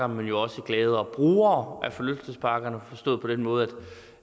men jo også gladere brugere af forlystelsesparker forstået på den måde